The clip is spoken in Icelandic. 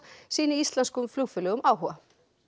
sýni íslenskum flugfélögum áhuga